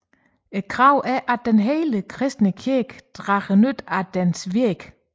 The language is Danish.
Kravet er at hele den kristne kirke drager nytte af deres virke